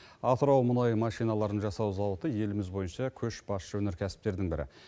атырау мұнай машиналарын жасау зауыты еліміз бойынша көшбасшы өнеркәсіптердің бірі